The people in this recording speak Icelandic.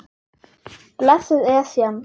Blessuð Esjan.